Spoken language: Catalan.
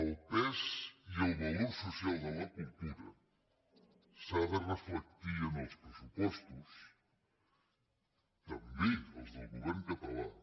el pes i el valor social de la cultura s’ha de reflectir en els pressupostos també als del govern català